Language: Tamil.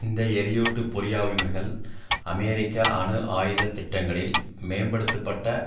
இந்த எரியூட்டு பொறியாவிமைவுகள் அமெரிக்க அணு ஆயுத திட்டங்களில் மேம்படுத்த பட்ட